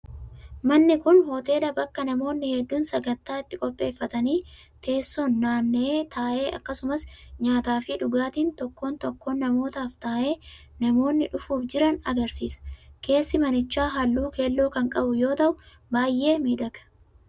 Manni kun hoteela bakka namoonni hedduun sagantaa itti qopheeffatanii teessoon naanna'ee taa'e akkasumas nyaataa fi dhugaatiin tokkoon tokkoo namaatiif taa'ee namoonni dhufuuf jiran agarsiisa. Keessi manichaa halluu keelloo kan qabu yoo ta'u, baay'ee miidhaga.